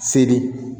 Seli